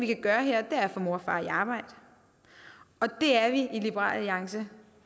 kan gøre er at få mor og far i arbejde og det er vi i liberal alliance